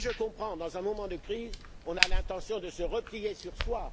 Je comprends que, dans un moment de crise, on ait l'intention de se replier sur soi.